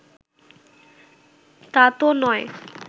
তাতো নয়